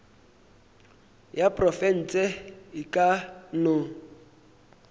ya profense e ka no